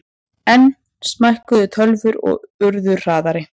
Enn smækkuðu tölvur og urðu hraðari.